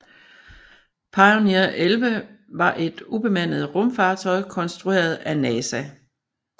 Pioneer 11 var et ubemandet rumfartøj konstrueret af NASA